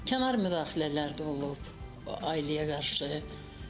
Kənar müdaxilələr də olub o ailəyə qarşı.